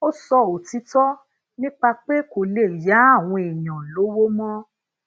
ó sọ òtitó nípa pé kò le ya àwọn èèyàn lówó mo